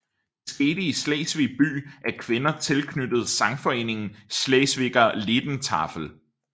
Det skete i Slesvig by af kvinder tilknyttet sangforeningen Schleswiger Liedertafel